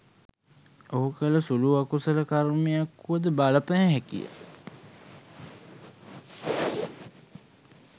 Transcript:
ඔහු කළ සුළු අකුසල කර්මයක් වුවද බලපෑ හැකිය.